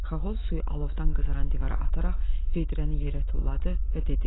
Xaxol suyu alovdan qızaran divara ataraq vedrəni yerə tulladı və dedi: